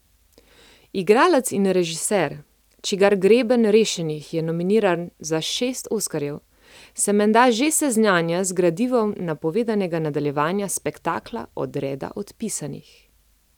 Igralec in režiser, čigar Greben rešenih je nominiran za šest oskarjev, se menda že seznanja z gradivom napovedanega nadaljevanja spektakla Odreda odpisanih.